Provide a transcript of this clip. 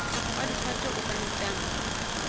wa difate o ka nqane